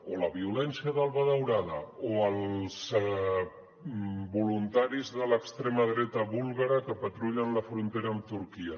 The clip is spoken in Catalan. o la violència d’alba daurada o els voluntaris de l’extrema dreta búlgara que patrullen la frontera amb turquia